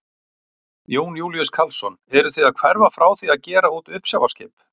Jón Júlíus Karlsson: Eruð þið að hverfa frá því að gera út uppsjávarskip?